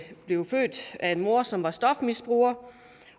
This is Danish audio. blev født af en mor som var stofmisbruger